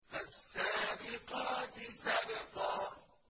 فَالسَّابِقَاتِ سَبْقًا